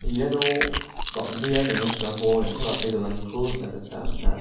iano bang·bea rengrengsilrangko neng·takate donaniko nikna gita man·a.